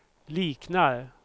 liknar